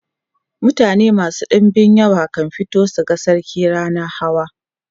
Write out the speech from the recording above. mutane masu ɗinbin yawa kan fito su ga sarki rannan hawa